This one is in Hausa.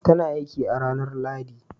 Ta na aiki a ranar Lahadi.